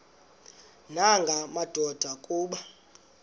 nanga madoda kuba